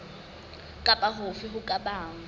kapa hofe ho ka bang